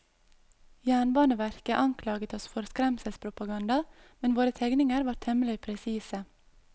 Jernbaneverket anklaget oss for skremselspropaganda, men våre tegninger var temmelig presise.